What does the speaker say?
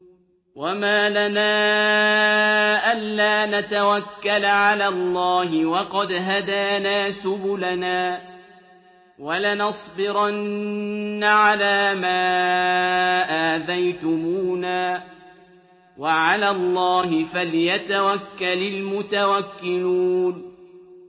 وَمَا لَنَا أَلَّا نَتَوَكَّلَ عَلَى اللَّهِ وَقَدْ هَدَانَا سُبُلَنَا ۚ وَلَنَصْبِرَنَّ عَلَىٰ مَا آذَيْتُمُونَا ۚ وَعَلَى اللَّهِ فَلْيَتَوَكَّلِ الْمُتَوَكِّلُونَ